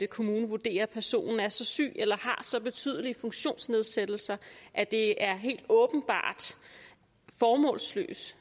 kommunen vurderer at personen er så syg eller har så betydelige funktionsnedsættelser at det er helt åbenbart formålsløst